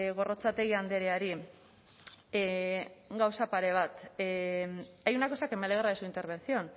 gorrotxategi andreari gauza pare bat hay una cosa que me alegra de su intervención